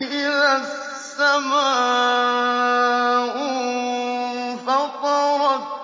إِذَا السَّمَاءُ انفَطَرَتْ